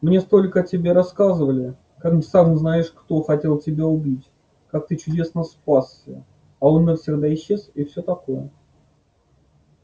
мне столько о тебе рассказывали как сам знаешь кто хотел тебя убить как ты чудесно спасся а он навсегда исчез и всё такое